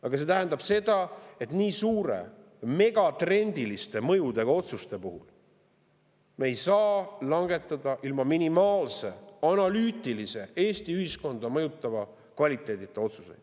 Aga see tähendab seda, et nii suurte ja megatrendiliste mõjudega otsuseid me ei saa langetada ilma minimaalse analüütilise Eesti ühiskonda mõjutava kvaliteedita.